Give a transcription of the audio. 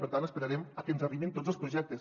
per tant esperarem a que ens arribin tots els projectes